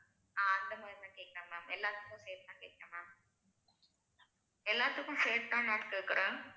ஆஹ் அந்த மாதிரி தான் கேட்கிறேன் ma'am எல்லாத்துக்கும் சேர்த்துதான் கேட்கிறேன் ma'am எல்லாத்துக்கும் சேர்த்து தான் ma'am கேட்கிறேன்